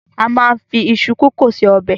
A máa ń fi iṣu kòkó se ọbẹ̀.